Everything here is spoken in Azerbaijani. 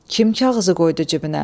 Kim kağızı qoydu cibinə?